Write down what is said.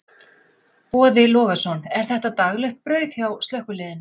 Boði Logason: Er þetta daglegt brauð hjá slökkviliðinu?